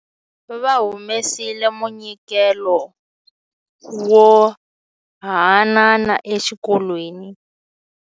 Va humesile munyikelo wo haanana exikolweni.